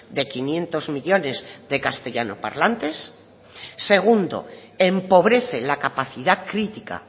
de quinientos millónes de castellanos parlantes segundo empobrece la capacidad crítica